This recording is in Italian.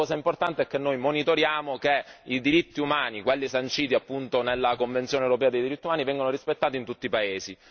La cosa importante è che noi monitoriamo che i diritti umani, quali sanciti appunto nella Convenzione europea dei diritti umani, vengano rispettati in tutti i paesi.